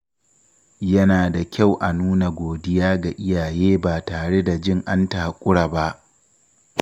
Yana da kyau a nuna godiya ga iyaye ba tare da jin an takura ba.